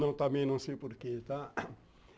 Não também não sei porquê, tá?